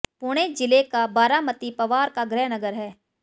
पुणे जिले का बारामती पवार का गृहनगर है